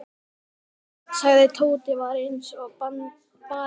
sagði Tóti og var eins og barinn hundur.